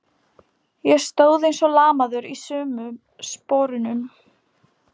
Ég stóð eins og lamaður í sömu sporunum.